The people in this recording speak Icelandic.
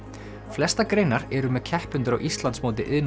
flestar greinar eru með keppendur á Íslandsmóti iðn